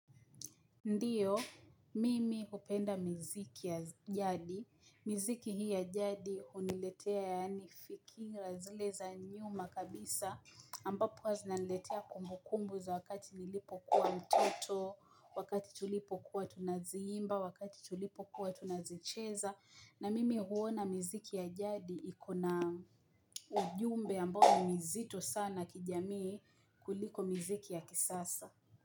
Ndiyo, mimi upenda mziki ya jadi, mziki hii ya jadi uniletea yaani fikira zile za nyuma kabisa, ambapo hazinaniletea kumbukumbu za wakati nilipo kuwa mtoto, wakati tulipo kuwa tunaziimba, wakati tulipo kuwa tunazicheza, na mimi huona mziki ya jadi ikona ujumbe ambao ni mzito sana kijamii kuliko mziki ya kisasa.